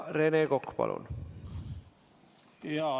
Rene Kokk, palun!